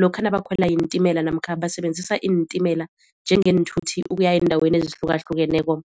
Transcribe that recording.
lokha nabakhwela iintimela namkha basebenzisa iintimela njengeenthuthi ukuya eendaweni ezihlukahlukeneko.